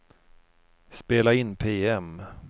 spela in PM